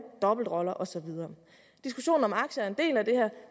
dobbeltroller og så videre diskussionen om aktier er en del af det